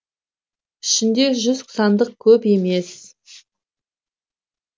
ішінде жүз сандық көп емес